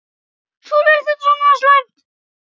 Sólveig: Er þetta svo slæmt?